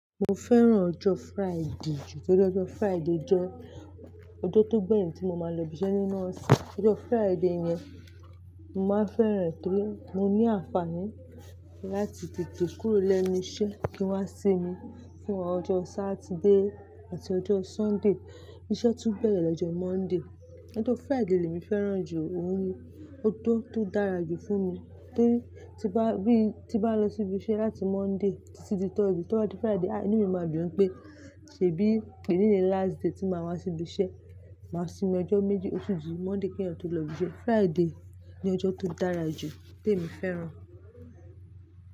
Mo fẹ́ràn ọjọ́ Friday jù, torí ọjọ́ Friday jẹ́ ọjọ́ tó gbẹ̀yìn tí mo máa lọ ibi iṣẹ́ nínú ọ̀sẹ̀. Ọjọ́ Friday yẹn, mo máa fẹ́ràn e torí mo ní àǹfààní láti tètè kúrò lẹ́nu iṣẹ́ kí n wá sinmi fún ọjọ́ Saturday àti ọjọ́ Sunday. Iṣẹ́ tún bẹ̀rẹ̀ lọ́jọ́ Monday. Ọjọ́ Friday lèmi fẹ́ràn jù, òun ni ọjọ́ tó dára jù fún mi torí tí bá bí tí bá lọ sí ibi iṣẹ́ láti Monday títí dé Thursday, to ba di Friday, a inú mi máa dùn wipé ṣèbí èní ni last day tí màá wá sí ibi iṣẹ́. Máa sinmi ọjọ́ méjì otùn di, Monday kí eeyán tó lọ ibi iṣẹ́. Friday ni ọjọ́ tó dára jù tí èmi fẹ́ràn.